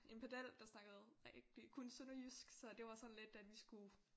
En pedel der snakkede rigtig kun sønderjysk så det var sådan lidt at vi skulle